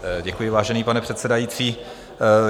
Děkuji, vážený pane předsedající.